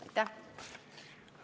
Aitäh!